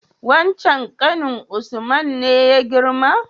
Wancen ƙanin usman ne ya girma?